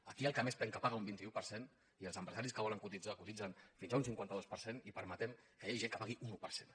aquí el que més penca paga un vint un per cent i els empresaris que volen cotitzar cotitzen fins a un cinquanta dos per cent i permetem que hi hagi gent que pagui un un per cent